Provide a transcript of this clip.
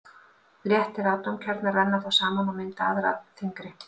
Léttir atómkjarnar renna þá saman og mynda aðra þyngri.